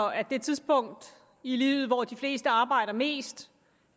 at det tidspunkt i livet hvor de fleste arbejder mest